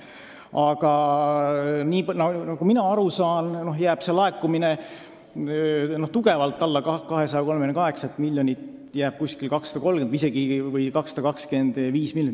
Aga nagu mina aru saan, jääb see laekumine kõvasti alla 238 miljonit, jääb 230 või isegi 225 miljoni kanti.